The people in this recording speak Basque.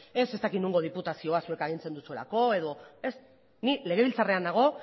ez dakit nongo diputazioa zuek agintzen duzuelako edo ez ni legebiltzarrean nago